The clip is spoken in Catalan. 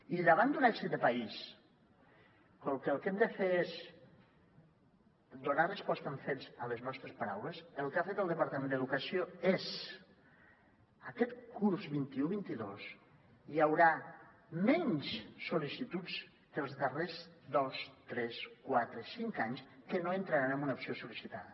i davant d’un èxit de país com que el que hem de fer és donar resposta amb fets a les nostres paraules el que ha fet el departament d’educació és aquest curs vint un vint dos hi haurà menys sol·licituds que els darrers dos tres quatre cinc anys que no entraran en una opció sol·licitada